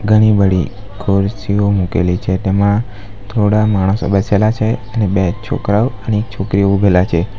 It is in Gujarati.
ઘણી બળી ખુરશીઓ મૂકેલી છે તેમાં થોડા માણસો બેસેલા છે અને બે છોકરાઓ અને એક છોકરી ઉભેલા છે.